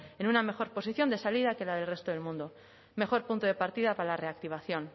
en una mejor posición de salida que la del resto del mundo mejor punto de partida para la reactivación